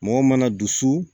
Mɔgɔ mana dusu